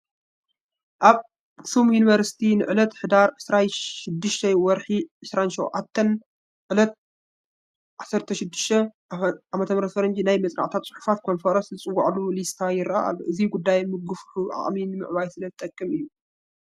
ኣኽሱም ዩኒቨርሲቲ ንዕለት ሕዳር 26-27/2018 ኣፈ ናይ መፅናዕታዊ ፅሑፋት ኮንፈረንስ ዝፀወዓሉ ሊስታ ይርአ ኣሎ፡፡ እዚ ጉዳይ ምግውሑ ዓቕሚ ንምዕባይ ስለዝጠቅም እዩ፡፡